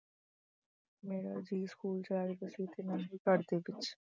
ਮੇਰਾ ਜੀਅ school ਚ ਲੱਗਦਾ ਸੀ ਤੇ ਨਾ ਹੀ ਘਰ ਵਿੱਚ